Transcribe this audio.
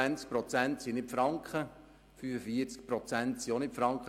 25 oder 45 Prozent sind nicht Franken.